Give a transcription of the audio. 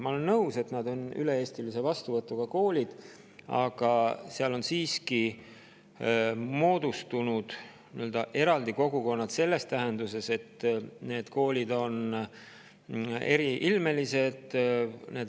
Ma olen nõus, et need koolid on üle-eestilise vastuvõtuga, aga neis on siiski moodustunud eraldi kogukonnad selles tähenduses, et need koolid on eriilmelised.